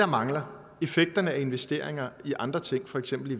mangler effekterne af investeringer i andre ting for eksempel i